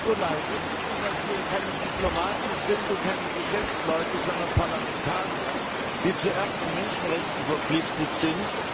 Frau Nicolai, wissen Sie, dass wir keine Diplomaten sind und keine Geschäftsleute, sondern Parlamentarier, die zuerst den Menschenrechten verpflichtet sind?